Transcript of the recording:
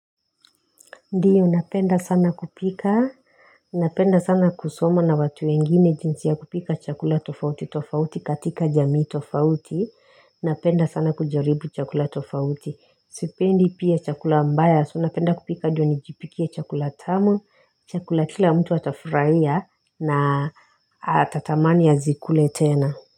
Ndio napenda sana kupika, napenda sana kusoma na watu wengine jinsi ya kupika chakula tofauti tofauti katika jamii tofauti, napenda sana kujaribu chakula tofauti, sipendi pia chakula mbaya, so napenda kupika ndio nijipikie chakula tamu, chakula kila mtu atafurahia na ata tamani azikule tena.